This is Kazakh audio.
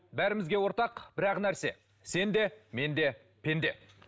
бәрімізге ортақ бір ақ нәрсе сен де мен де пенде